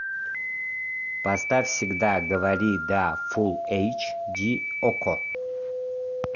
поставь всегда говори да фулл эйч ди окко